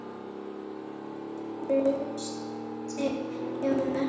Trausti Jónsson